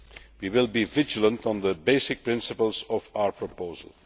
We will be vigilant on the basic principles of our proposal.